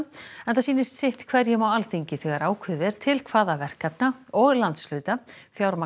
enda sýnist sitt hverjum á Alþingi þegar ákveðið er til hvaða verkefna og landshluta fjármagn